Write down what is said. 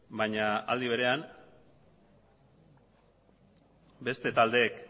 baina aldi berean beste taldeek